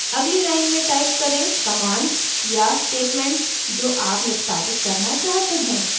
अगली line में type करें commands या statements जो आप निष्पादित करना चाहते हैं